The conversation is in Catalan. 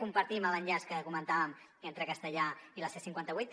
compartim l’enllaç que comentàvem entre castellar i la c cinquanta vuit